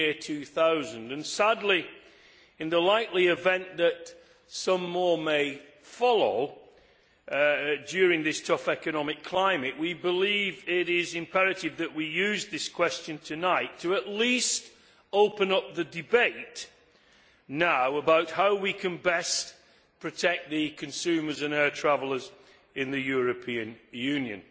2000 and, in the sad but likely event that some more may follow in this tough economic climate, we believe it is imperative that we use this question tonight to at least open up the debate now about how we can best protect consumers and air travellers in the European Union.